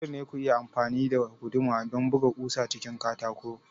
Dole ne ku yi amfani da guduma don buga ƙusa cikin katako